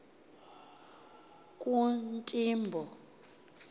kuntimbo